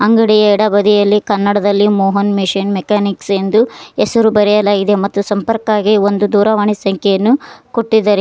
ಅಂಗಡಿಯ ಎಡಬದಿಯಲ್ಲಿ ಕನ್ನಡದಲ್ಲಿ ಮೋಹನ್ ಮಿಷಿನ್ ಮೆಕಾನಿಕ್ಸ್ ಎಂದು ಹೆಸರು ಬರೆಯಲಾಗಿದೆ ಮತ್ತು ಸಂಪರ್ಕಗೆ ದೂರವಾಣಿ ಸಂಖ್ಯೆಯನ್ನು ಕೊಟ್ಟಿದ್ದಾರೆ.